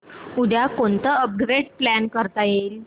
उद्या कोणतं upgrade plan करता येईल